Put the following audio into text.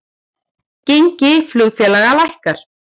Gengi flugfélaga lækkar